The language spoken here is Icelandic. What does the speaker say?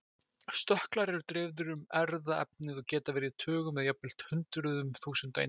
Stökklar eru dreifðir um erfðaefnið og geta verið í tugum eða jafnvel hundruðum þúsunda eintaka.